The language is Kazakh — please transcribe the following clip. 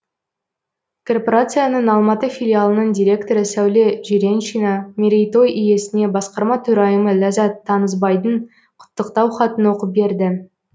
корпорацияның алматы филиалының директоры сәуле жиреншина мерейтой иесіне басқарма төрайымы ләззат танысбайдың құттықтау хатын оқып берді